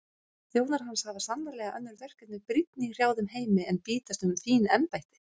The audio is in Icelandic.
Þjónar hans hafa sannarlega önnur verkefni brýnni í hrjáðum heimi en bítast um fín embætti.